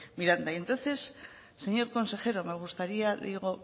miranda y entonces señor consejero me gustaría digo